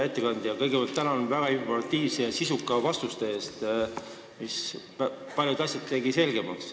Hea ettekandja, kõigepealt tänan väga informatiivsete ja sisukate vastuste eest, mis tegid paljud asjad selgemaks.